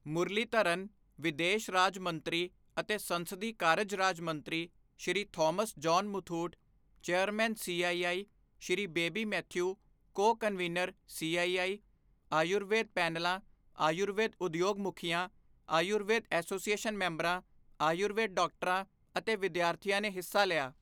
ਮੁਰਲੀਧਰਨ, ਵਿਦੇਸ਼ ਰਾਜ ਮੰਤਰੀ ਅਤੇ ਸੰਸਦੀ ਕਾਰਜ ਰਾਜ ਮੰਤਰੀ, Shri Thomas John Muthoot, chairman, CII, Shri Baby Mathew, co convener, CII Ayurveda ਪੈਨਲਾਂ, ਆਯੁਰਵੇਦ ਉਦਯੋਗ ਮੁਖੀਆਂ, ਆਯੁਰਵੇਦ ਐਸੋਸੀਏਸ਼ਨ ਮੈਂਬਰਾਂ, ਆਯੁਰਵੇਦ ਡਾਕਟਰਾਂ ਅਤੇ ਵਿਦਿਆਰਥੀਆਂ ਨੇ ਹਿੱਸਾ ਲਿਆ।